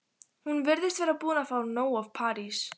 Hún virðist vera búin að fá nóg af París.